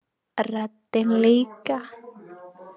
Röddin líka.